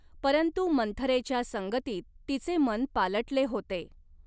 परंतु मंथरेच्या संगतीत तिचे मन पालटले होते.